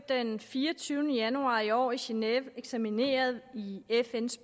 den fireogtyvende januar i år i génève eksamineret i fns